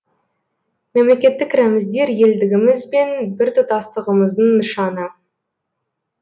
мемлекеттік рәміздер елдігіміз бен біртұтасытығымыздың нышаны